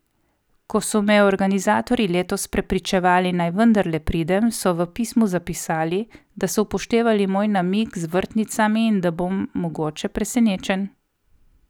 Ko so me organizatorji letos prepričevali, naj vendarle pridem, so v pismu zapisali, da so upoštevali moj namig z vrtnicami in da bom mogoče presenečen.